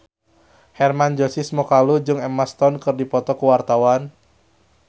Hermann Josis Mokalu jeung Emma Stone keur dipoto ku wartawan